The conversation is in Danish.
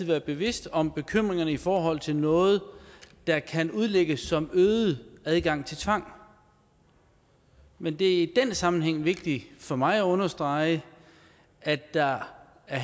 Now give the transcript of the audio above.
være bevidst om bekymringerne i forhold til noget der kan udlægges som en øget adgang til tvang men det er i den sammenhæng vigtigt for mig at understrege at der her